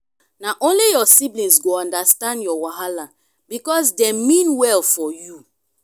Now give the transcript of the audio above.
na only your siblings go understand your wahala because dem mean well for you.